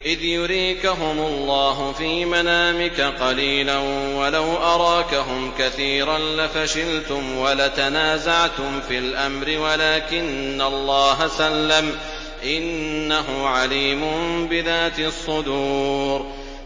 إِذْ يُرِيكَهُمُ اللَّهُ فِي مَنَامِكَ قَلِيلًا ۖ وَلَوْ أَرَاكَهُمْ كَثِيرًا لَّفَشِلْتُمْ وَلَتَنَازَعْتُمْ فِي الْأَمْرِ وَلَٰكِنَّ اللَّهَ سَلَّمَ ۗ إِنَّهُ عَلِيمٌ بِذَاتِ الصُّدُورِ